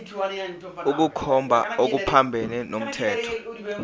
ukukhomba okuphambene nomthetho